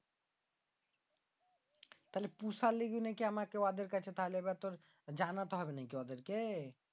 তাইলে পৌষার জন্য কি আমার তাদের কাছে জানাইলতে হবে নাকি ওদেরকে